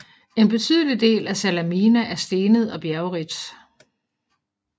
En betydelig del af Salamina er stenet og bjergrigt